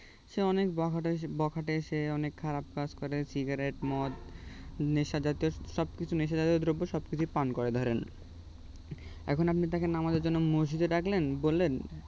সে অনেক বখাটে বখাটে সে অনেক খারাপ কাজ করে cigarette মদ নেশা জাতীয় সবকিছু নেশা জাতীয় দ্রব্য সবকিছুই পান করে ধরেন এখন আপনি তাকে নামাজে জন্য মসজিদে ডাকলেন বললেন